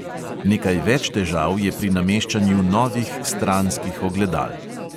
Nekaj več težav je pri nameščanju novih stranskih ogledal.